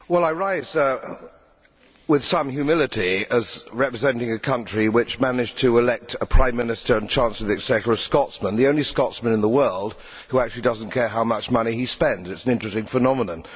Madam President, I rise with some humility as representing a country which managed to elect a Prime Minister and Chancellor of the Exchequer, a Scotsman, the only Scotsman in the world who actually does not care how much money he spends it is an interesting phenomenon!